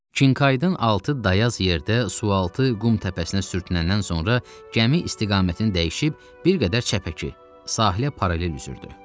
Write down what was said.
Kinqaydin altı dayaz yerdə sualtı qum təpəsinə sürtünəndən sonra gəmi istiqamətini dəyişib bir qədər çəpəki, sahilə paralel üzürdü.